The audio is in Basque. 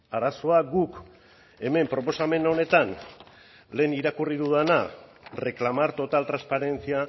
arazoa guk hemen proposamen honetan lehen irakurri dudana reclamar total transparencia